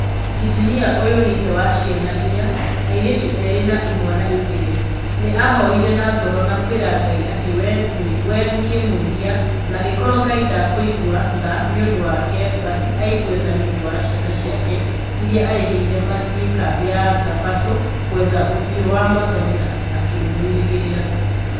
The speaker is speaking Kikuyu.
Injinia ũyũ nĩ ithe wa ciana inya, airĩtu erĩ na imwana igĩrĩ, nĩ aahoire na ngoro na kwĩra Ngai atĩ we nĩ mwĩhia , na angĩkorwo Ngai ndakũigua tha nĩũndũ wake baci aigue tha nĩũndũ wa ciana ciake iria arĩhĩire mathiĩ kambĩ ya thabatũ ngwetha ũthiu wa mwathani na nĩakamwĩrĩgĩrĩra